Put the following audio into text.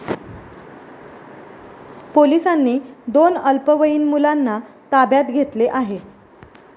पोलिसांनी दोन अल्पवयीन मुलांना ताब्यात घेतले आहे.